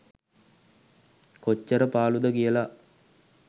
කොච්චර පාලු ද කියල.